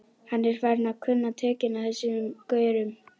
Hann er farinn að kunna tökin á þessum gaurum.